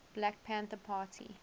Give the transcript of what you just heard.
black panther party